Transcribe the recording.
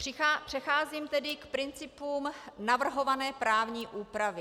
Přecházím tedy k principům navrhované právní úpravy.